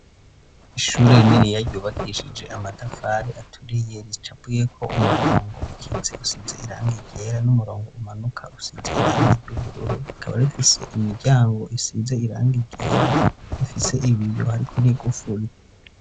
Ishure rininiya ryubakishije amatafari aturiye ricapuyeko umurongo ukitse usize irangi ryera n'umurongo umanuka usize irangi ry'ubururu rikaba rifise imiryango isize irangi ryera rifise ibiyo hariko n'igufuri.